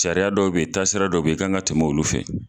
Sariya dɔw be ye taasira dɔw be yen i kan ka tɛmɛ olu fɛ